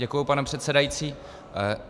Děkuji, pane předsedající.